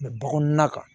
bɔgɔ kɔnɔna kan